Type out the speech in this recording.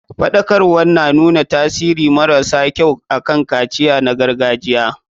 Faɗakarwar na nuna tasiri mara sa kyau akan kaciya na gargajiya.